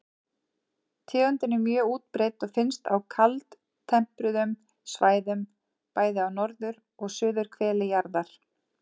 Tegundin er mjög útbreidd og finnst á kaldtempruðum svæðum, bæði á norður- og suðurhveli jarðar.